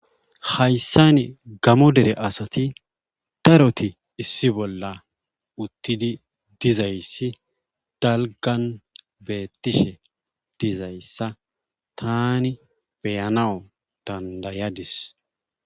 Hayssan gamo dere asati daroyi issi bolla uttid dizayssi dalggan beettishe dizayssa taani beyanaw danddayadis.